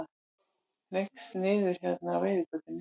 Hneigst niður hérna á reiðgötunni.